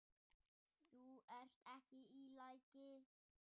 Þú ert ekki í lagi.